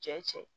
Cɛ cɛ